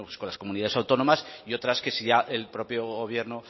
con las comunidades autónomas y otras que ya el propio gobierno